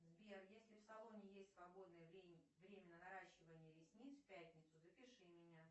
сбер если в салоне есть свободное время на наращивание ресниц в пятницу запиши меня